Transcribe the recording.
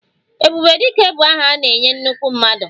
Ebube Dike bụ aha a na-enye nnukwu mmadụ